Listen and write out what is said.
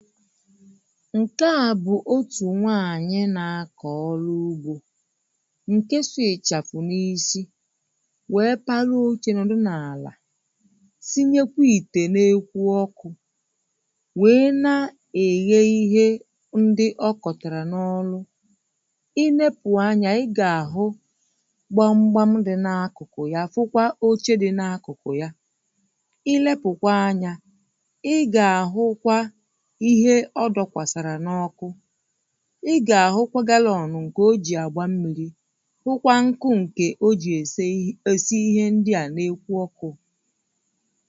ṅ̀ke a bụ̀ otù nwaanyị́ nā kọ̀ ọrụ ugbo ṅ̀ke sụ ị̀chafụ̀ n’isi wèe parụ ochē nọ̀dụ n’àlà sinyekwa ìtè n’ekwu ọkụ̄ wèe na-èghe ihe ndi̩ ọ kọ̀tàrà n’ọlụ i nepu anya ị̣ gà-àhụ gbamgbam dị̄ n’akụkụ ya fụkwa oche dị̄ n’akụkụ ya ị lepụ̀kwa anyā ị gà-àhụkwa ihe ọ dọkwàsàrà n’ọkụ ị gà-ahụkwa galọ̄ọ̀nụ̀ ṅ̀kè o jì àgba mmīrī hụkwa ṅkụ ṅ̀ke o jì èseyi èsi ihe ndi à n’ekwu ọkụ̄